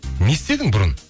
не істедің бұрын